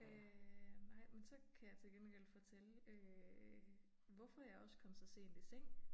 Øh nej men så kan jeg til gengæld fortælle øh hvorfor jeg også kom så sent i seng